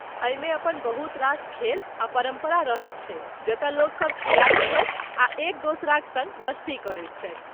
एहिमे अपन बहुत रास खेल आ परम्परा रहैत छै जतऽ लोकसभ खेलायत छथि आ एक दोसराक सङ्ग मस्ती करैत छथि।